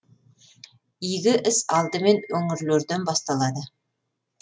игі іс алдымен өңірлерден басталады